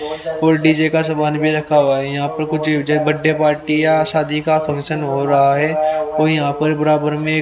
full DJ का सामान भी रखा हुआ है यहां पर कुछ जे बड्डे पार्टी या शादी का फंक्शन हो रहा है कोई यहां पर बराबर में--